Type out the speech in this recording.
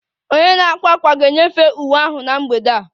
Onye na-akwa ákwà ga-enyefee uwe ahụ na mgbede a